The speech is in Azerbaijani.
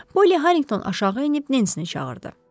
Poli Harrington aşağı enib Nensini çağırdı.